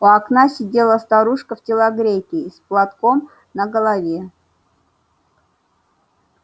у окна сидела старушка в телогрейке и с платком на голове